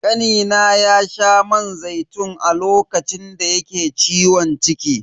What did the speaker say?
Kanina ya sha man zaitun a lokacin da yake ciwon ciki.